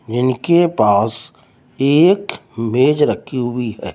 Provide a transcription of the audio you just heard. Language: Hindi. इनके पास एक मेज रखी हुई है।